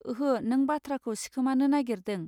ओहो नों बाथ्राखौ सिखोमानो नागरिदों.